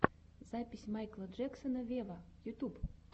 запись майкла джексона вево ютьюб